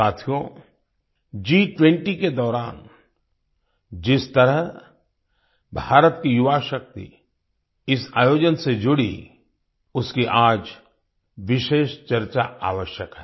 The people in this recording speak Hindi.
साथियो G20 के दौरान जिस तरह भारत की युवाशक्ति इस आयोजन से जुड़ी उसकी आज विशेष चर्चा आवश्यक है